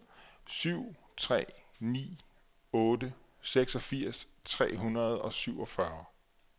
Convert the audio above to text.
syv tre ni otte seksogfirs tre hundrede og syvogfyrre